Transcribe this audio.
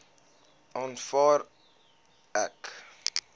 aanvaar ek